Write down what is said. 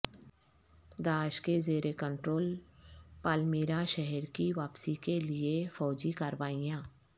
داعش کے زیر control Palmyra شہر کی واپسی کے لیے فوجی کاروائیاں